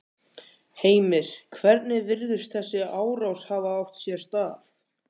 Heimir: Hvernig virðist þessi árás hafa átt sér stað?